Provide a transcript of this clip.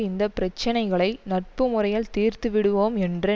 இந்த பிரச்சினைகளை நட்பு முறையில் தீர்த்து விடுவோம் என்று